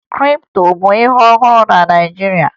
Kripto bụ ihe ọhụrụ na Naịjirịa